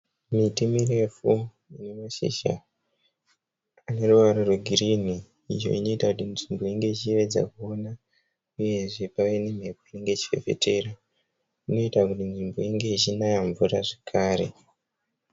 Miti mirefu ine mashizha ane ruvara rwegirini. Iyo inoita kuti nzvimbo inge ichiyevedza kuona uyezve pave nemhepo inenge ichifefetera. Inoita kuti nzvimbo inge ichinaya mvura zvekare.